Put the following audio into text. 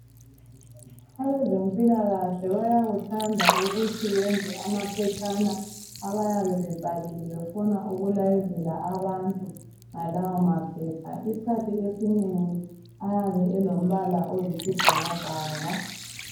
Abezempilakahle bayakuthanda ukuthi benze amaphetshana abayabe bebhalile befuna ukulayezela abantu ngalawo maphepha. Isikhathi esinengi ayabe elombala oyisibhakabhaka.